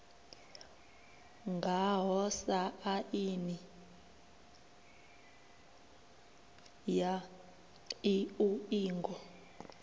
ngaho sa aini ya iuingo